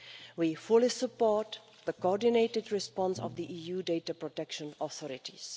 We fully support the coordinated response of the EU data protection authorities.